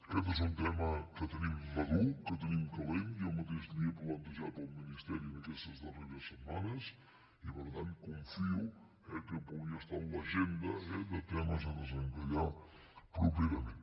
aquest és un tema que te·nim madur que tenim calent jo mateix li he plantejat al ministeri en aquestes darreres setmanes i per tant confio que pugui estar en l’agenda de temes a desenca·llar properament